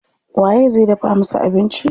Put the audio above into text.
Waye zai dafa musu abinci?